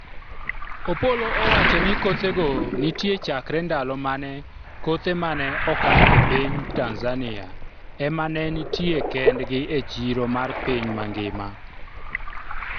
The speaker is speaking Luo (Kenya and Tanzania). Opollo owacho ni kothego nitie chakre ndalo mane kothe mane oka e piny Tanzania ema ne nitie kendgi e chiro mar piny mangima